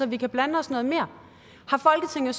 vi kan blandes noget mere har folketinget